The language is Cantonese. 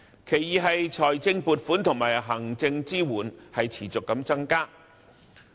其二是財政撥款和行政支援持續增加。